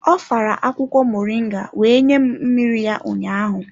Ọ fara akwukwo moringa wee nye m mmiri ya ụnyaahụ.